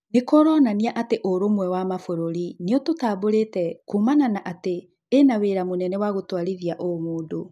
Nĩkũronania ũrũmwe wa mabũrũrĩ nĩ ũtũtambũrĩte kũmana na atĩ ĩna wĩra mũnene gũtwarithia ũmũndũ.